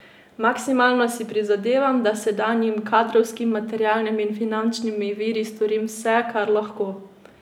Maksimalno si prizadevam, da s sedanjimi kadrovskimi, materialnimi in finančnimi viri storim vse, kar lahko.